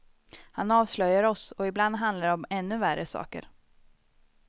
Han avslöjar oss, och ibland handlar det om ännu värre saker.